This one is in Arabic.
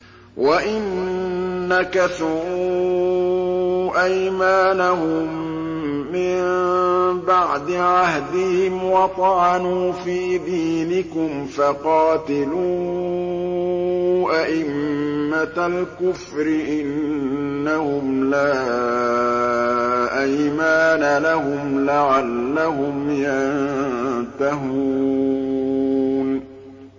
وَإِن نَّكَثُوا أَيْمَانَهُم مِّن بَعْدِ عَهْدِهِمْ وَطَعَنُوا فِي دِينِكُمْ فَقَاتِلُوا أَئِمَّةَ الْكُفْرِ ۙ إِنَّهُمْ لَا أَيْمَانَ لَهُمْ لَعَلَّهُمْ يَنتَهُونَ